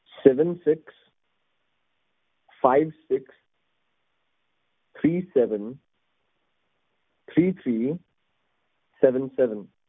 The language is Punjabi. sevensixfivesixthreeseventhreethreesevenseven